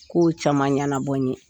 Kow caman ɲɛnabɔ n ye